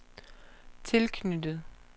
tilknyttet